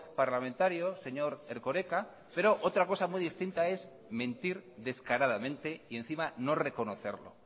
parlamentario señor erkoreka pero otra cosa muy distinta es mentir descaradamente y encima no reconocerlo